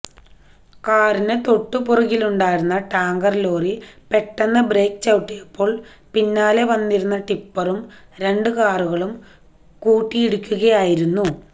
കാറിന് തൊട്ടുപിറകിലുണ്ടായിരുന്ന ടാങ്കർലോറി പെട്ടെന്ന് ബ്രേക്ക് ചവിട്ടിയപ്പോൾ പിന്നാലെ വന്നിരുന്ന ടിപ്പറും രണ്ട് കാറുകളും കൂട്ടിയിടിക്കുകയായിരുന്നു